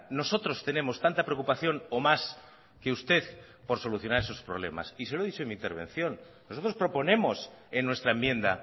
nosotros tenemos tanta preocupación o más que usted por solucionar estos problemas y se lo he dicho en mi intervención nosotros proponemos en nuestra enmienda